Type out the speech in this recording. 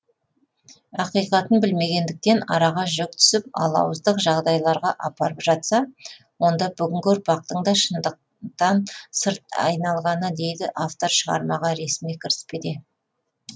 ақиқатын білмегендіктен араға жік түсіп алауыздық жағдайларға апарып жатса онда бүгінгі ұрпақтың да шындықтан сырт айналғаны дейді автор шығармаға ресми кіріспеде